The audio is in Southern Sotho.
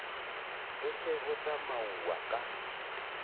ho se ho tsamauwa ka